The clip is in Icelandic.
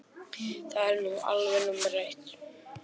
Það er nú alveg númer eitt.